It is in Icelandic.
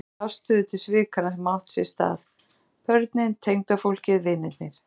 Allir taka afstöðu til svikanna sem hafa átt sér stað, börnin, tengdafólkið, vinirnir.